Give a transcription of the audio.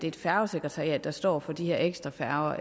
et færgesekretariat der står for de her ekstra færger